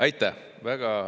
Aitäh!